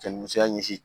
Cɛ ni musoya ɲɛsin